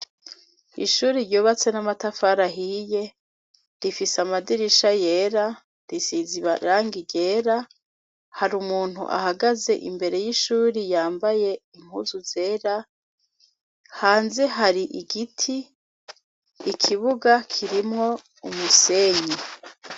Ishuri ryobatse n'amatafarahiye rifise amadirisha yera risizibarangi rera hari umuntu ahagaze imbere y'ishuri yambaye inkuzu zera hanze hari igiti ikibuga kirimwo umusenyi.